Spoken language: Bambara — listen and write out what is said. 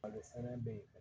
Malo fɛnɛ bɛ ye